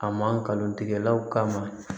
A mankalon tigɛ